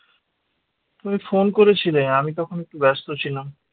তুমি phone করেছিলে আমি তখন একটু ব্যস্ত ছিলাম